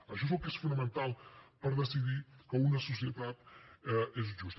això és el que és fonamental per decidir que una societat és justa